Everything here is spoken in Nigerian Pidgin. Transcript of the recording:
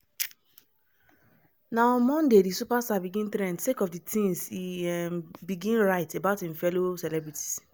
na on monday di superstar begin trend sake of di tins e um begin write about im fellow celebrities.